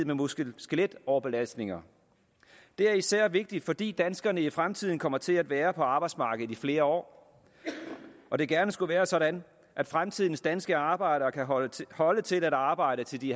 muskel og skeletoverbelastninger det er især vigtigt fordi danskerne i fremtiden kommer til at være på arbejdsmarkedet i flere år og det gerne skulle være sådan at fremtidens danske arbejdere kan holde til holde til at arbejde til de